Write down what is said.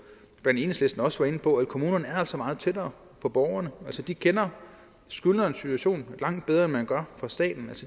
også var inde på at kommunerne altså er meget tættere på borgerne altså de kender skyldnerens situation langt bedre end man gør fra statens